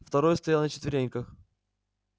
второй стоял на четвереньках